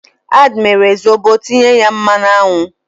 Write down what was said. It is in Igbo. Ad mere Zobo tinye ya mmanụ aṅụ.